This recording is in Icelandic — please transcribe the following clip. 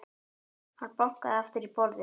Hann bankaði aftur í borðið.